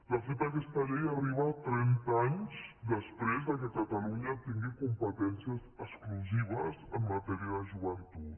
de fet aquesta llei arriba trenta anys després que catalunya tingui competències exclusives en matèria de joventut